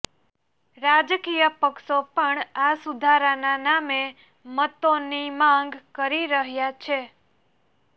રાજકીય પક્ષો પણ આ સુધારાના નામે મતોની માંગ કરી રહ્યા છે